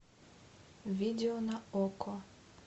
видео на окко